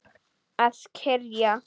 Að kyrja.